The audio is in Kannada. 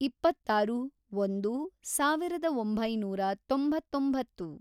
ಇಪ್ಪತ್ತಾರು, ಒಂದು, ಸಾವಿರದ ಒಂಬೈನೂರ ತೊಂಬತ್ತೊಂಬತ್ತು